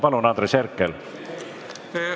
Palun, Andres Herkel!